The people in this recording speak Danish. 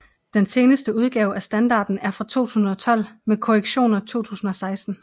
Den seneste udgave af standarden er fra 2012 med korrektioner 2016